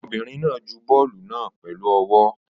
Ọmọbìnrin náà ju bọ́ọ́lù náà pẹ̀lú ọwọ́.